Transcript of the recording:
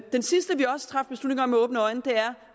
sidste vi også traf beslutning om med åbne øjne er